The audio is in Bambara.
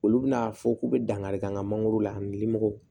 Olu bɛna a fɔ k'u bɛ dankari kɛ an ka mangoro la ani limɔgɔw